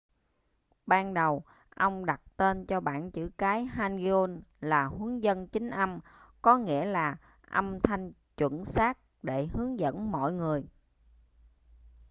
ban đầu ông đặt tên cho bảng chữ cái hangeul là huấn dân chính âm có nghĩa là âm thanh chuẩn xác để hướng dẫn mọi người